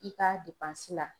I ka la.